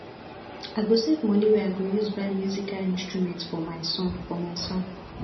i go save moni wey i go use buy musical instrument for my son for my son